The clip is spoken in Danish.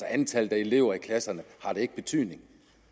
antallet af elever i klasserne ikke betydning